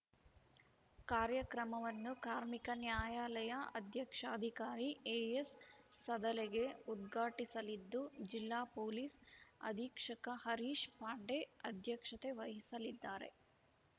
ಕಾರ್ಯಕ್ರಮವನ್ನು ಕಾರ್ಮಿಕ ನ್ಯಾಯಾಲಯ ಅಧ್ಯಕ್ಷಾಧಿಕಾರಿ ಎಎಸ್‌ ಸದಲಗೆ ಉದ್ಘಾಟಿಸಲಿದ್ದು ಜಿಲ್ಲಾ ಪೊಲೀಸ್‌ ಅಧೀಕ್ಷಕ ಹರೀಶ್‌ ಪಾಂಡೆ ಅಧ್ಯಕ್ಷತೆ ವಹಿಸಲಿದ್ದಾರೆ